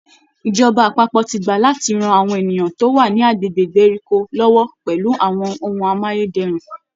Ìjọba àpapọ̀ ti gbà láti ran àwọn ènìyàn tó wà ní agbègbè ìgbèríko lọ́wọ́ pẹ̀lú àwọn ohun amáyé dẹrùn